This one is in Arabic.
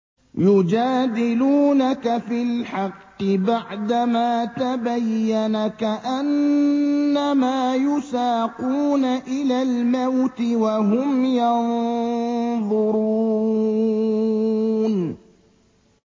يُجَادِلُونَكَ فِي الْحَقِّ بَعْدَمَا تَبَيَّنَ كَأَنَّمَا يُسَاقُونَ إِلَى الْمَوْتِ وَهُمْ يَنظُرُونَ